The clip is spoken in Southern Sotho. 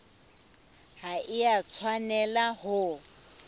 ha e a tshwanela ho